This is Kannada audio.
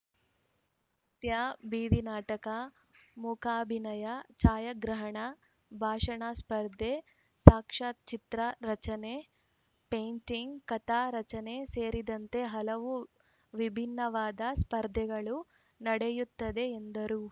ನೃತ್ಯ ಬೀದಿ ನಾಟಕ ಮೂಕಾಭಿನಯ ಛಾಯಾಗ್ರಹಣ ಭಾಷಣ ಸ್ಪರ್ಧೆ ಸಾಕ್ಷ್ಯಚಿತ್ರ ರಚನೆ ಪೈಂಟಿಂಗ್‌ ಕಥಾ ರಚನೆ ಸೇರಿದಂತೆ ಹಲವು ವಿಭಿನ್ನವಾದ ಸ್ಪರ್ಧೆಗಳು ನಡೆಯುತ್ತವೆ ಎಂದರು